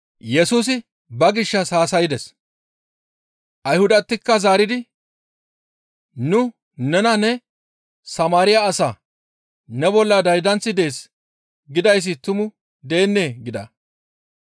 Ayhudatikka zaaridi, «Nu nena ne, ‹Samaariya asa; ne bolla daydanththi dees› gidayssi tumu deennee?» gida.